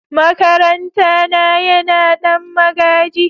makaranta na Yana Dan magaji.